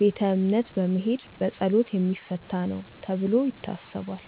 ቤተ እምነት በመሄድ በፀሎት የሚፈታ ነው ተብሎ ይታሰባል።